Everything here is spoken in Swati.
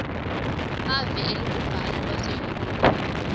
nemave elubumbano lwaseyurophu